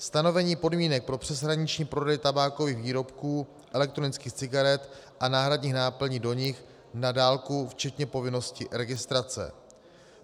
Stanovení podmínek pro přeshraniční prodej tabákových výrobků, elektronických cigaret a náhradních náplní do nich na dálku včetně povinnosti registrace.